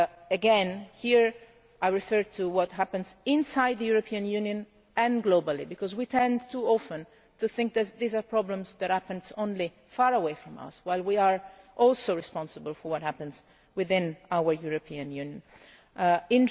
Again here, I refer to what happens inside the European Union and globally, because we tend too often to think that these are problems that happen only far away from us, while we are also responsible for what happens within our European Union.